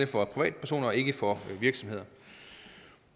for privatpersoner og ikke for virksomheder